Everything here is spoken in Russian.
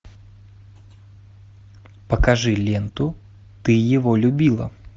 покажи ленту ты его любила